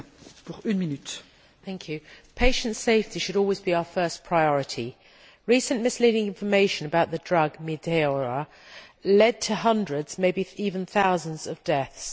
Madam President, patient safety should always be our first priority. Recent misleading information about the drug Mediator led to hundreds, may be even thousands, of deaths.